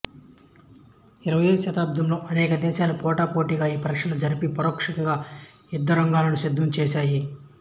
ఇరవై శతాబ్దంలో అనేక దేశాలు పోటా పోటీగా ఈ పరీక్షలు జరిపి పరోక్షంగా యుద్ధరంగాలను సిద్ధం చేసాయి